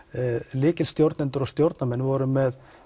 lykilstjórnendur og stjórnarmenn voru með